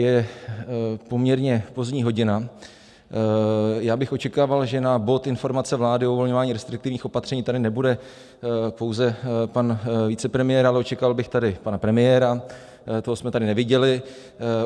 Je poměrně pozdní hodina, já bych očekával, že na bod Informace vlády o uvolňování restriktivních opatření tady nebude pouze pan vicepremiér, ale očekával bych tady pana premiéra - toho jsme tady neviděli.